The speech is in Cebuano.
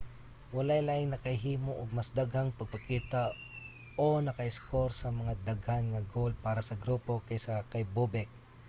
walay laing nakahimo og mas daghang pagpakita o naka-iskor og mas daghan nga goal para sa grupo kaysa kay bobek